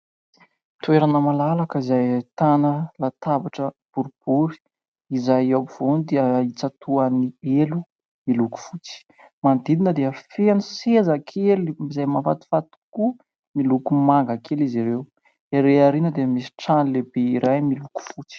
Toerana malalaka izay ahitana latabatra boribory, izay eo ampovoany dia tsatohan'ny elo miloko fotsy. Manodidina dia feno sezakely izay mafatifaty tokoa miloko manga izy ireo. Erý aoriana dia misy trano lehibe iray miloko fotsy.